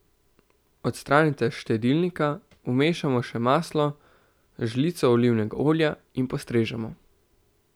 Odstranite s štedilnika, vmešamo še maslo, žlico olivnega olja in postrežemo.